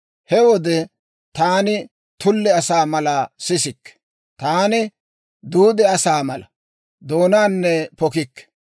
He wode taani tulle asaa mala, sisikke; taani duude asaa mala, doonaanne pokikke.